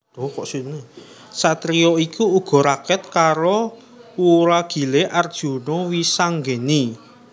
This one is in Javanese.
Satriya iki uga raket karo wuragilé Arjuna Wisanggeni